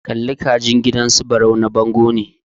Kalli ka jin gidan su Barau na bango ne.